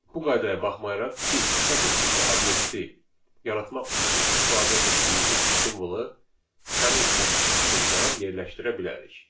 Bu qaydaya baxmayaraq, biz sətr tipli obyekti yaratmaq üçün istifadə etdiyimiz simvolu həmin sətrin içində yerləşdirə bilərik.